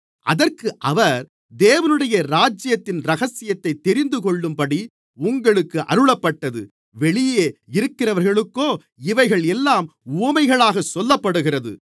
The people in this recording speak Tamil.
அதற்கு அவர் தேவனுடைய ராஜ்யத்தின் இரகசியத்தைத் தெரிந்துகொள்ளும்படி உங்களுக்கு அருளப்பட்டது வெளியே இருக்கிறவர்களுக்கோ இவைகள் எல்லாம் உவமைகளாகச் சொல்லப்படுகிறது